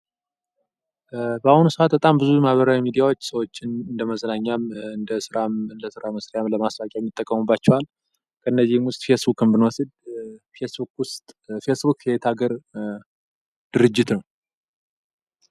በአሁኑ ሰአት በጣም ብዙ ማህበራዊ ሚዲያዎች ሰዎችን እንደመዝናኛም እንደስራም ለስራ መስሪያም ለማሳቂያም ይጠቀሙባቸዋል። ከነዚህም ውስጥ ፌስቡክን ብንወስድ ፌስቡክ የየት ሀገር ድርጅት ነው?